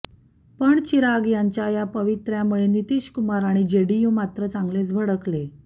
पण चिराग यांच्या या पवित्र्यामुळे नितीशकुमार आणि जेडीयू मात्र चांगलेच भडकले